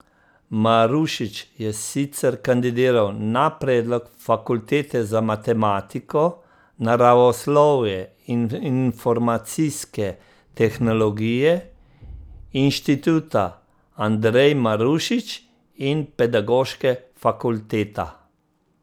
Marušič je sicer kandidiral na predlog fakultete za matematiko, naravoslovje in informacijske tehnologije, Inštituta Andrej Marušič in pedagoške fakulteta.